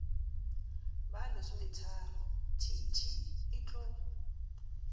ba lesometharo t t etlo